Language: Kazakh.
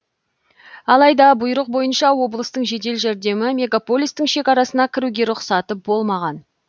алайда бұйрық бойынша облыстың жедел жәрдемі мегаполистің шекарасына кіруге рұқсаты болмаған